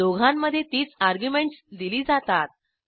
दोघांमध्ये तीच अर्ग्युमेंटस दिली जातात